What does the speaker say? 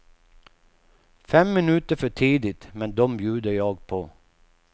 Fem minuter för tidigt men dom bjuder jag på.